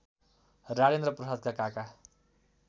राजेन्द्र प्रसादका काका